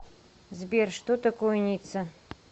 сбер что такое ницца